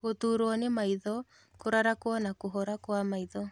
Gũturwo nĩ maitho, kũrarakwo na kũhora kwa maitho